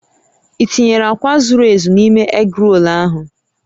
I tinyere akwa zuru ezu n'ime egrol ahụ?